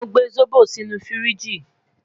Mo gbe zobo sinu firiji